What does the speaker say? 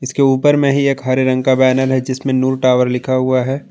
इसके ऊपर में ही एक हरे रंग का बैनर है जिसमें नूर टावर लिखा हुआ है।